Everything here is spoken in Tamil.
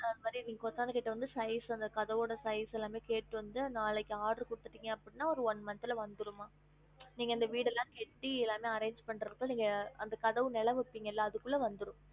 அத மாதிரி நீங்க கொத்தனார் கிட்ட வந்து size அந்த கதவோட size ல்லாமே கேட்டு வந்து நாளைக்கு order குடுத்துட்டிங்க அப்டினா அது one month ல வந்திரும் மா நீங்க அந்த வீடு எல்லாம் கெட்டி எல்லாமே arrange பண்றதுக்கு நீங்க அந்த கதவு நிலை வப்பிங்கள அதுக்குள்ள வந்துரும்